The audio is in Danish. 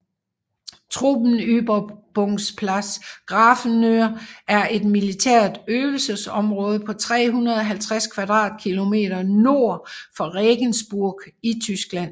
Truppenübungsplatz Grafenwöhr er et militært øvelsesområde på 350 km² nord for Regensburg i Tyskland